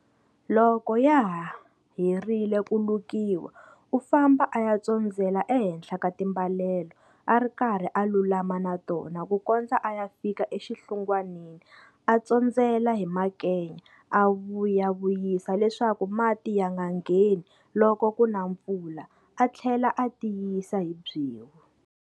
Loko ya herile ku lukiwa u famba a ya tsondzela ehenhla ka timbalelo a ri karhi a lulama na tona ku kondza a ya fika exinhlungwanini a tsondzela hi makenya a vuyavuyisa leswaku mati ya nga ngheni loko ku na mpfula a tlhela a tiyisa hi byewu.